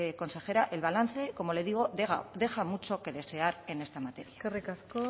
consejera el balance como le digo deja mucho que desear en esta materia eskerrik asko